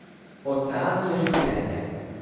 Ocean je življenje.